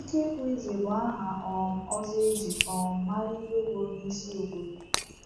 Ikekwe Eze bụ aha um ọzọ e ji um mara Igwe, bụ́ onyeisi obodo.